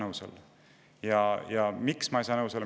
Miks ma ei saa nendega nõustuda?